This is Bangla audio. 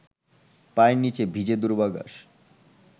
পায়ের নিচে ভিজে দূর্বাঘাস